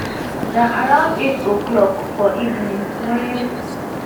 na around eight oclock for evening wen